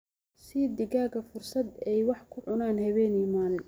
Sii digaagga fursad ay wax ku cunaan habeen iyo maalin.